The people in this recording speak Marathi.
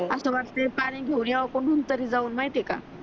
अस वाटते पाणी घेऊन याव कोठून तरी जाऊन माहित आहे का